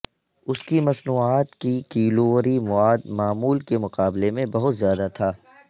اس کی مصنوعات کی کیلوری مواد معمول کے مقابلے میں بہت زیادہ تھا